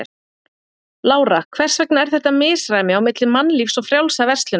Lára: Hvers vegna er þetta misræmi á milli Mannlífs og Frjálsrar verslunar?